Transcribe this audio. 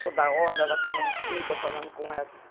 Toda hora ela falando comigo, eu falando com ela.